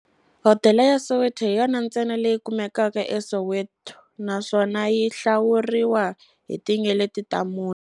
Hodela ya Soweto hi yona ntsena leyi kumekaka eSoweto, naswona yi hlawuriwa hi tinyeleti ta mune.